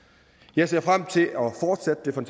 jeg ser frem til